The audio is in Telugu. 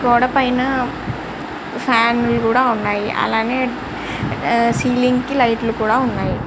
గోడ పైన ఫ్యాన్ లు కూడా వున్నాయ్ అలగే సీలింగ్ కి లైట్ లు కూడా వున్నాయ్.